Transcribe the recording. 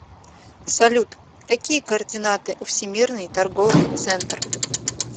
салют какие координаты у всемирный торговый центр